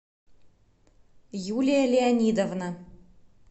юлия леонидовна